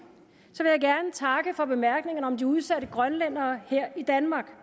for bemærkningerne om de udsatte grønlændere her i danmark